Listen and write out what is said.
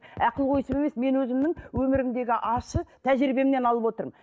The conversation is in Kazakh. ақылгөйсіп емес мен өзімнің өмірімдегі ащы тәжірибемнен алып отырмын